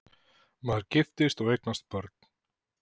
Maður giftist og eignaðist börn.